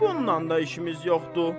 Bununla da işimiz yoxdur.